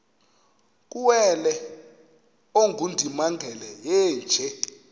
kuwele ongundimangele yeenje